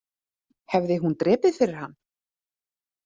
Hefði hún drepið fyrir hann?